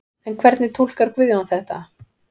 En hvernig túlkar Guðjón þetta?